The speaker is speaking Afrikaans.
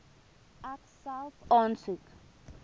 ek self aansoek